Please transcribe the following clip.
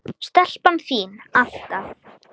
Stelpan þín, alltaf.